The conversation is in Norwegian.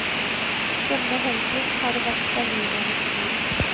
Denne helgen har det vært berlinernes tur.